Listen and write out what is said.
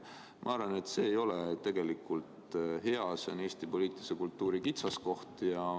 Ma arvan, et see ei ole tegelikult hea, see on Eesti poliitilise kultuuri kitsaskoht.